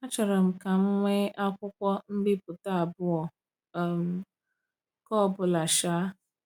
“Achọrọ m ka m nwee akwụkwọ mbipụta abụọ um nke ọ bụla.” um